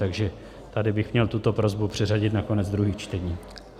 Takže tady bych měl tuto prosbu přeřadit na konec druhých čtení.